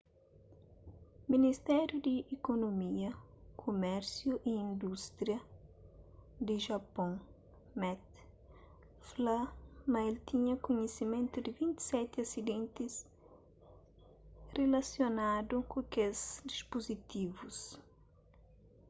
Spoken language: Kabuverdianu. ministériu di ikunomia kumérsiu y indústria di japôn meti fla ma el tinha kunhisimentu di 27 asidentis rilasionadu ku kes dispuzitivus